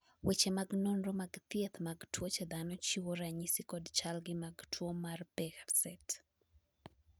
weche mag nonro mag thieth mag tuoche dhano chiwo ranyisi kod chalgi mag tuo mar Behcet